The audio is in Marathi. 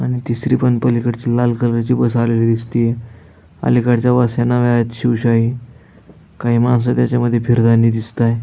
आणि तिसरी पण पलिकडची लाल कलरची बस आलेली दिसतीय अलीकडच्या बस नव्यायेत शिवशाही काही माणसे त्याच्यामधी फिरतानी दिसताय.